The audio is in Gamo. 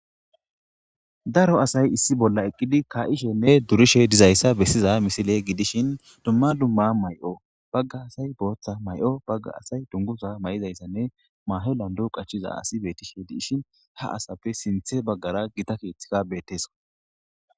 daro asay issi bolla eqqidi ka7ishenne durishe dizayssa bessiza misile gidishin dumma dumma may7o bagga asay booththa may7o bagga asay dungusa may7izayssanne maahe lando qachiza asi betishe diishin ha asappe sinthe baggara gita keeththika beetteso